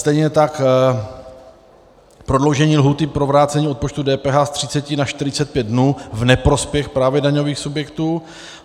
Stejně tak prodloužení lhůty pro vrácení odpočtu DPH z 30 na 45 dnů v neprospěch právě daňových subjektů.